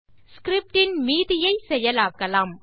script இன் மீதியை செயலாக்கலாம்